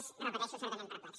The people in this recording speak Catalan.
és ho repeteixo certament perplex